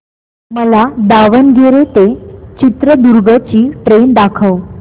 मला दावणगेरे ते चित्रदुर्ग ची ट्रेन दाखव